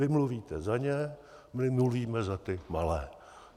Vy mluvíte za ně, my mluvíme za ty malé.